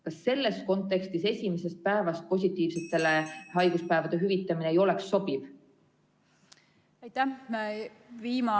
Kas selles kontekstis COVID-positiivsetele esimesest päevast alates haiguspäevade hüvitamine ei oleks sobiv?